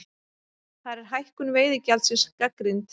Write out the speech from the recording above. Þar er hækkun veiðigjaldsins gagnrýnd